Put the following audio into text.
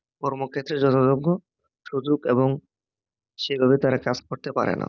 কর্মক্ষেত্রে যথাযথ সুযোগ এবং সেভাবে তারা কাজ করতে পারে না